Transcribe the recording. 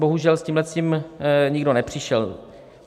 Bohužel, s tímhletím nikdo nepřišel.